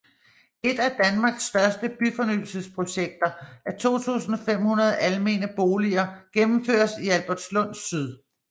Et af danmarks største byfornyelsesprojekter af 2500 almene boliger gennemføres i Albertslund Syd